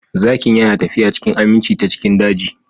Zakin yana tafiya cikin aminci ta cikin daji